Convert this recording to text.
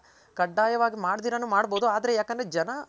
ಕಡ್ಡಾಯ ವಾಗಿ ಮಾಡ್ ದಿರನು ಮಾಡ್ ಬೋದು ಆದ್ರೆ ಜನ.